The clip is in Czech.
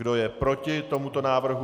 Kdo je proti tomuto návrhu?